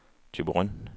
Thyborøn